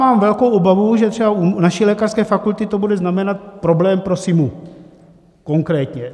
Mám velkou obavu, že třeba u naší lékařské fakulty to bude znamenat problém pro SIMU konkrétně.